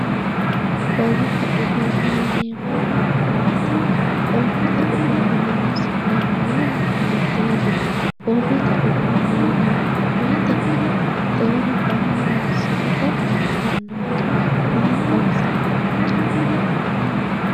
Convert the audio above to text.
borrote uduunneeti yineemmohu maati? borrote uduuunne horonsi'neemmo yanna hiiteeti? borrote uduunne yineemmo woyte baxxeewore maa horonsi'rate kaa'lannonke? maa xaisannonke?